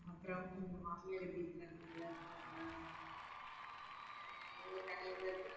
அப்புறம், உங்க மாமியார் எப்படி இருக்காங்க நல்லாருக்காங்களா அப்புறம் தனியாத்தான் இருக்காங்களா?